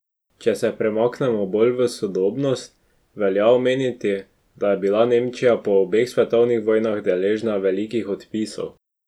Če se premaknemo bolj v sodobnost, velja omeniti, da je bila Nemčija po obeh svetovnih vojnah deležna velikih odpisov.